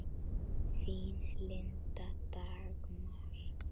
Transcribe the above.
Þín, Linda Dagmar.